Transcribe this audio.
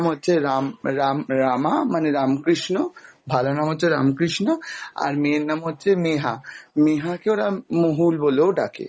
আর আহ তার ছেলের নাম হচ্ছে রাম রাম রামা মানে রামকৃষ্ণ, ভালো নাম হচ্ছে রামকৃষ্ণ আর মেয়ের নাম হচ্ছে নেহা, নেহাকে ওরা মোহুল বলেও ডাকে